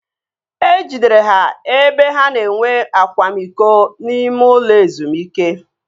E jidere ha ebe ha na-enwe akwamiko n'ime ụlọ ezumike